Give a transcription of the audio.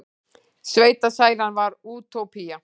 Sveitasælan var útópía.